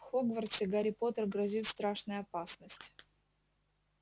в хогвартсе гарри поттеру грозит страшная опасность